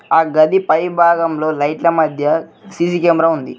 ఆ గది పైభాగంలో లైట్ల మధ్య సీ_సీ కెమెర ఉంది.